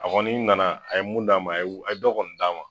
A kɔni nana a ye mun d'a ma a ye dɔ kɔni d'a ma.